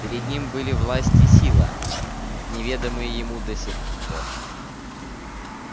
перед ним были власть и сила неведомые ему до сих пор